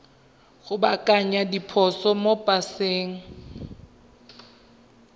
go baakanya diphoso mo paseng